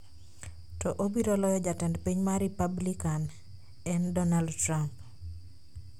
to obiro loyo Jatend piny ma Ripablikan en Donald Trump.